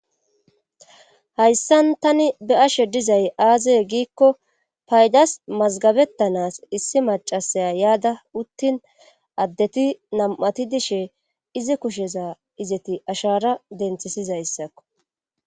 Hayssan tani be ashe dizay aazee giikko paydas mazgabettanas issi macasaya yaada uttin addeti nam'ati dishe izi kusheza izeti ashara denthisizayssakko.